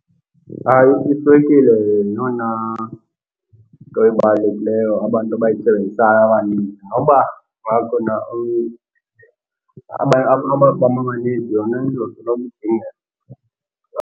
Iswekile yeyona nto ebalulekileyo abantu abayisebenzisayo abaninzi. Noba kungakhona amafama amaninzi, yona izosoloko idingeka.